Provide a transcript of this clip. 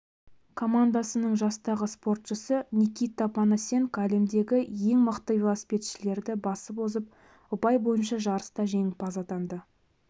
командасының жастағы спортшысы никита панасенко әлемдегі ең мықты велосипедшілерді басып озып ұпай бойынша жарыста жеңімпаз атанды